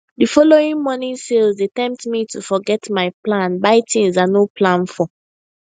the following morning sales dey tempt me to forget my plan buy things i no plan for